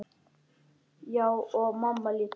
Já, og mamma líka.